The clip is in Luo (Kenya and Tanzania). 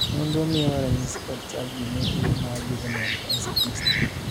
nonro miyowa ranyisi kod chal gi ne tuo mar Juvenile onset dystonia